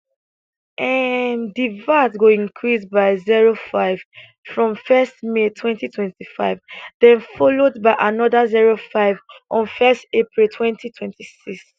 um di vat go increase by zero five from first may twenty twenty five den followed by anoda zero five on first april twenty twenty six